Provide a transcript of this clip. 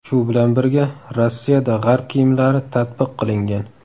Shu bilan birga, Rossiyada g‘arb kiyimlari tatbiq qilingan.